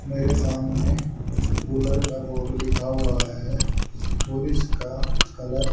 मेरे सामने कूलर का बोर्ड लिखा हुआ है और इसका कलर --